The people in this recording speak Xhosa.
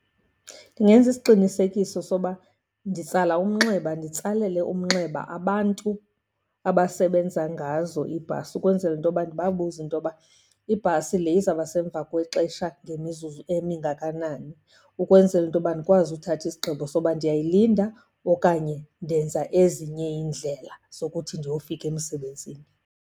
Ndingenza isiqinisekiso soba nditsala umnxeba, nditsalele umnxeba abantu abasebenza ngazo iibhasi, ukwenzela into yoba ndibabuze into yoba ibhasi le izawubasemva kwexesha ngemizuzu emingakanani. Ukwenzela into yoba ndikwazi uthatha isigqibo soba ndiyayilinda okanye ndenza ezinye iindlela zokuthi ndiyofika emsebenzini.